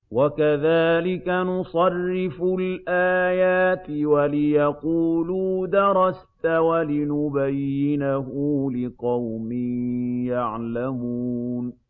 وَكَذَٰلِكَ نُصَرِّفُ الْآيَاتِ وَلِيَقُولُوا دَرَسْتَ وَلِنُبَيِّنَهُ لِقَوْمٍ يَعْلَمُونَ